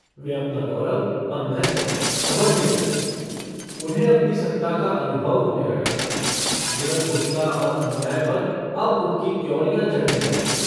वे अपना गौरव और महत्व समझने लगे उन्हें अपनी सत्ता का अनुभव होने लगा निरंकुशता और अन्याय पर अब उनकी त्योरियाँ चढ़ने लगीं।